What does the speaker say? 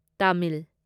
Tamil